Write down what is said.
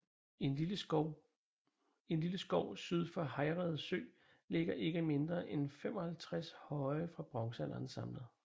I en lille skov syd for Hejrede Sø ligger ikke mindre end 55 høje fra bronzealderen samlet